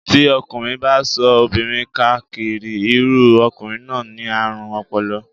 Tí ọkùnrin bá ń ṣọ́ obìnrin ká káàkiri, irú ọkùnrin náà ni àrùn ọpọlọ.